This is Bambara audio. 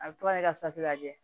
A bɛ to ka safunɛ lajɛ